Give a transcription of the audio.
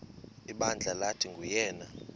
ibandla lathi nguyena